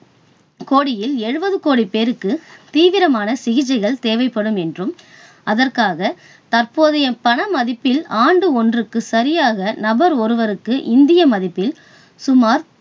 கோடியில் எழுபது கோடிப் பேருக்கு தீவிரமான சிகிச்சைகள் தேவைப்படும் என்றும், அதற்காக தற்போதைய பண மதிப்பில், ஆண்டு ஒன்றுக்கு சரியாக நபர் ஒருவருக்கு இந்திய மதிப்பில் சுமார்